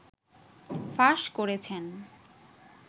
ফাঁস করেছেন